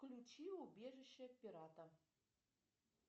включи убежище пирата